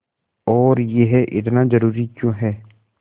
और यह इतना ज़रूरी क्यों है